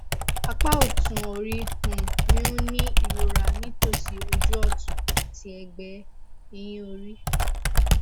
apá ọtún orí um mi ń ní ìrora nítòsí ojú ọtún àti ẹgbẹ ẹyìn orí